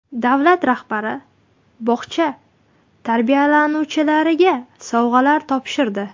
Davlat rahbari bog‘cha tarbiyalanuvchilariga sovg‘alar topshirdi.